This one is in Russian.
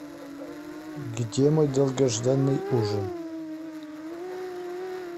где мой долгожданный ужин